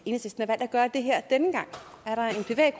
gøre det her denne gang